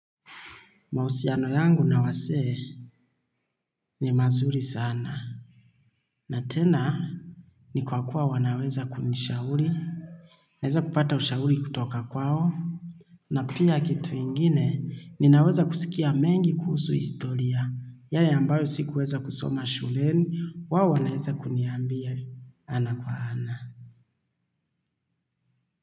Mahusiano yangu na wasee ni mazuri sana. Na tena, ni kwa kuwa wanaweza kunishauri. Naeza kupata ushauri kutoka kwao. Na pia kitu ingine ninaweza kusikia mengi kuhusu historia. Yale ambayo sikuweza kusoma shuleni, wao wanaweza kuniambia ana kwa ana.